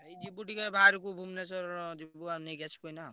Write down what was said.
ଏଇ ଯିବୁ ଟିକେ ବାହାରକୁ ଭୂବନେଶ୍ବର ଯିବୁ ନେଇକି ଆସିବୁ ଏଇନା।